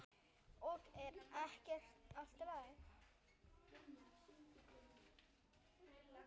Og ekki er allt talið.